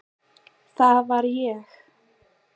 Það var ég.